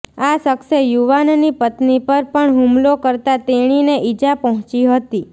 આ શખ્સે યુવાનની પત્ની પર પણ હુમલો કરતા તેણીને ઇજા પહોંચી હતી